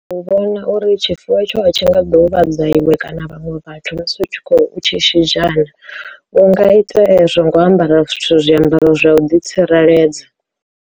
U vhona uri tshifuwo tsho a tshi nga ḓuvha dza iwe kana vhaṅwe vhathu musi u tshi khou tshi shidzha na, u nga ite zwo nga u ambara zwithu zwiambaro zwa u ḓitsireledza.